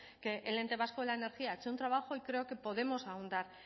que el ente vasco de la energía ha hecho un trabajo y creo que podemos ahondar